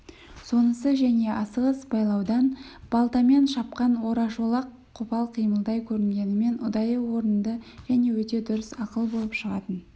сонысы және асығыс байлаудан балтамен шапқан орашолақ қопал қимылдай көрінгенмен ұдайы орынды және өте дұрыс ақыл болып шығатын